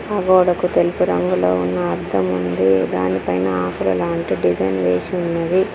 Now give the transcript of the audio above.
గోడకు తెలుపు రంగులో ఉన్న అద్దం ఉంది దానిపైన ఆకులు లాంటి డిజైన్ వేసి ఉన్నది.